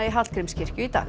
í Hallgrímskirkju í dag